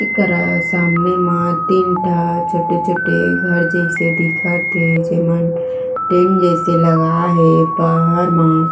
इकरा सामने मा तीन ठा छोटे छोटे घर जैसे दिखत थे जे मन टीन जैसे ला गए हे बहार मा